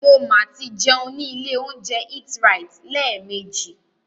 Mo ma tí jẹun ní ilé óúnjẹ EatRite lẹ́ẹ̀mejì.